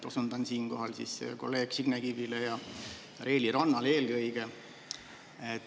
Osundan siinkohal eelkõige Signe Kivi ja Reili Ranna.